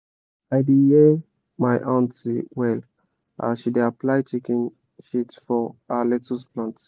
i da hear my aunty well as she da apply chicken shit for her lettuce plant